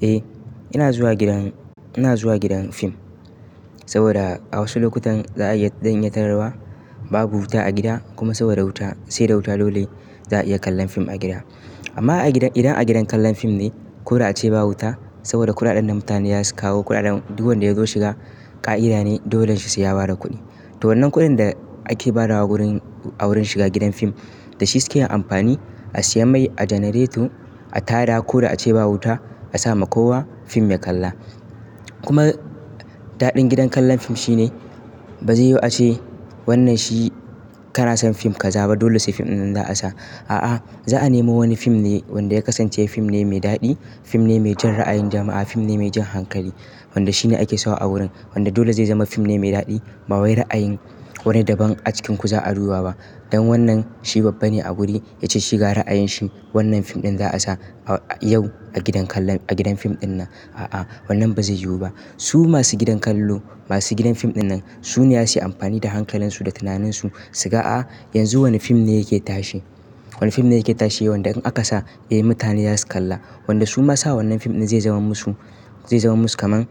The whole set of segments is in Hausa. Eh, ina zuwa gidan, ina zuwa gidan fim saboda a wasu lokutan za a yi don ya tararwa, babu wuta a gida kuma saboda wuta, sai da wuta dole za a iya kallon fim a gida. Amma a gidan, idan a gidan kallon fim ne ko da ace ba wuta saboda kuɗaɗen da mutane za su kawo, kuɗaɗen duk wanda ya zo shiga ƙa'ida ne dolan shi sai ya bada kuɗi. To wannan kuɗin da ake badawa wurin, a wurin shiga gidan fim da shi suke yin amfani a siya mai a janareto, a tayar ko da ace ba wuta, a sama kowa fim ya kalla. Kuma daɗin gidan kallon fim shine ba zai yiwu ace wannan shi kara son fim ka zaɓa dole sai fim dinnan za a sa. A'a, za a nemo wani fim ne wanda ya kasance fim ne mai daɗi, fim ne mai jan ra'ayin jama'a, fim ne mai jan hankali wanda shi ne ake sawa a wurin. Wanda dole zai zama fim ne mai daɗi, ba wai ra'ayin wani daban a cikinku za a ruwa ba. Don wannan shi babba ne a wuri yace shi ga ra'ayin shi wannan fim ɗin za a sa a, yau a gidan kallon, a gidan fim dinnan. A'a, wannan ba zai yiwu ba. Su masu gidan kallo, masu gidan fim dinnan su ne za su yi amfani da hankalansu, da tunaninsu su ga a yanzu wane fim ne yake tashe. Wane fim ne yake tashe wanda in aka sa eh mutane za su kalla. Wanda su ma sa wannan fim ɗin zai zama musu, zai zama musu kaman,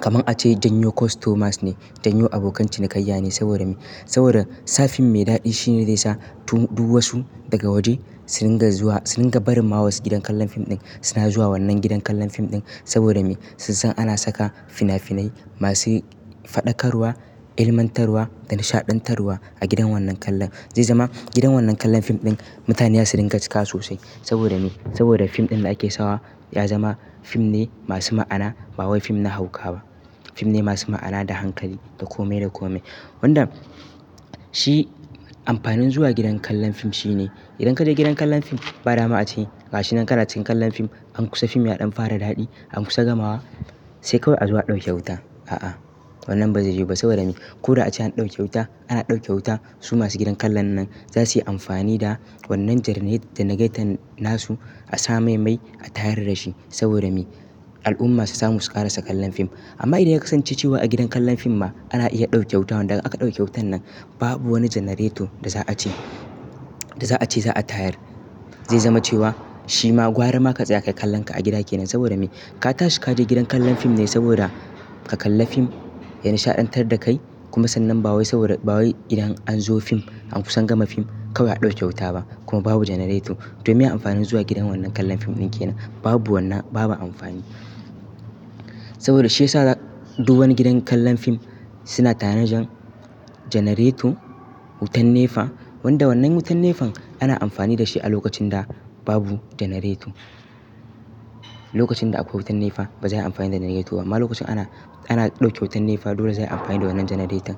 kaman ace janyo kostomas ne, janyo abokan cinikayya ne saboda me? Saboda sa fim mai daɗi shine zai sa duwatsu daga waje su ringa zuwa, su ringa barin ma wasu gidan kallon fim ɗin. Suna zuwa wannan gidan kallon fim ɗin saboda me? Sun san ana saka fina-finai masu faɗakarwa, ilmantarwa da nishaɗantarwa a gidan wannan kallon. Zai zama gidan wannan kallon fim ɗin mutane za su ringa cika sosai saboda me? Saboda fim ɗin da ake sawa ya zama fim ne masu ma'ana ba wai fim na hauka ba. Fim ne masu ma'ana da hankali, da kome da kome. Wanda shi amfanin zuwa gidan kallon fim shine. Idan ka je gidan kallon fim, ba dama ace gashinan ka rataye kallon fim, an kusa fim ya ɗan fara daɗi, an kusa gamawa sai kawai a zuwa a ɗauke wuta. A'a, wannan ba zai yiwu ba saboda me? Ko da ace an ɗauke wuta, ana ɗauke wuta, su masu gidan kallon nan za su yi amfani da wannan janaret, janareton nasu a sa mai mai a tayar da shi saboda me? Al'umma su samu su ƙarasa kallon fim. Amma idan ya kasance cewa a gidan kallon fim ma ana iya ɗauke wuta, wanda aka ɗauke wutan nan babu wani janareto da za a ce, da za a ce za a tayar. Zai zama cewa shi ma gwarama ka tsaya ka kallon ka a gida kenan saboda me? Ka tashi ka je gidan kallon fim ne saboda ka kalla fim ya nishaɗantar da kai kuma sannan ba wai saboda, ba wai idan an zo fim, an kusan gama fim kawai a ɗauke wuta ba kuma babu janareto. Domin ya amfanin zuwa gidan wannan kallon fim ɗin kenan. Babu wannan, babu amfani. Saboda shi ya sa duk wani gidan kallon fim suna tanajin janareto, wutan nefa wanda wannan wutan nefan ana amfani da shi a lokacin da babu janareto. Lokacin da akwai wutan nefa ba zai yi amfani da janareto ba amma lokacin ana, ana ɗauke wutan nefa dole zai yi amfani da wannan janareton.